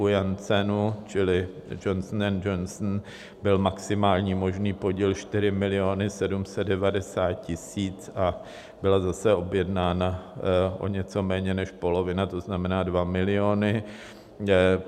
U Janssenu, čili Johnson & Johnson, byl maximální možný podíl 4 790 000 a byla zase objednána o něco méně než polovina, což znamená 2 miliony.